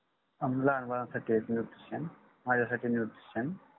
लहान बाळासाठी एक nutrition माझ्यासाठी nutrition